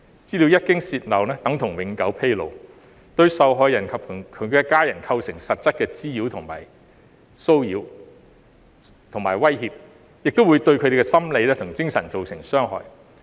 資料一經泄漏，等同永久披露，對受害人及其家人構成實質的滋擾、騷擾和威脅，亦會對他們的心理及精神造成傷害。